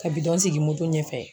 Ka bidɔn sigi moto ɲɛfɛ.